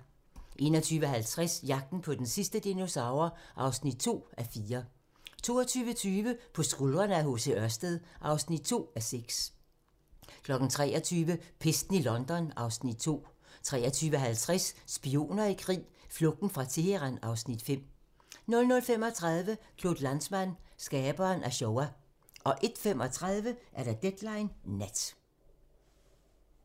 21:50: Jagten på den sidste dinosaur (2:4) 22:20: På skuldrene af H.C. Ørsted (2:6) 23:00: Pesten i London (Afs. 2) 23:50: Spioner i krig: Flugten fra Teheran (Afs. 5) 00:35: Claude Lanzmann - skaberen af Shoah 01:35: Deadline Nat